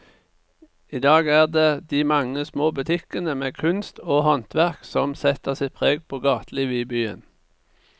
I dag er det de mange små butikkene med kunst og håndverk som setter sitt preg på gatelivet i byen.